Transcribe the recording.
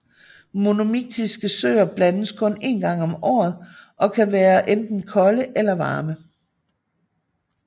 Monomiktiske søer blandes kun en gang om året og kan være enten kolde eller varme